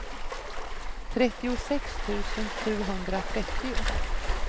trettiosex tusen sjuhundratrettio